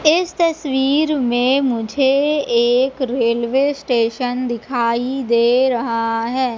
इस तस्वीर में मुझे एक रेलवे स्टेशन दिखाई दे रहा है।